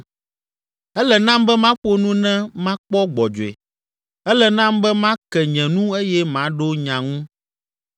Ele nam be maƒo nu ne makpɔ gbɔdzɔe, ele nam be make nye nu eye maɖo nya ŋu.